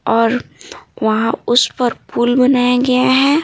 और वहाँ उस पर पुल बनाया गया है।